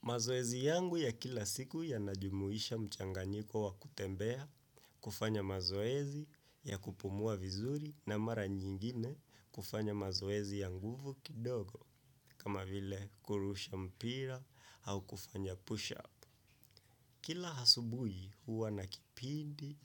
Mazoezi ezi yangu ya kila siku yanajumuisha mchanganyiko wa kutembea kufanya mazoezi ya kupumua vizuri na mara nyingine kufanya mazoezi ya nguvu kidogo kama vile kurusha mpira au kufanya push up. Kila asubuhi huwa na kipindi